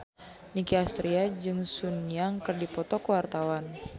Nicky Astria jeung Sun Yang keur dipoto ku wartawan